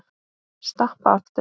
Stappa aftur.